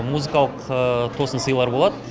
музыкалық тосын сыйлар болады